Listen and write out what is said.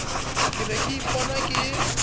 ke ne ke ipona ke